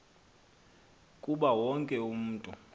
kuba wonke umntu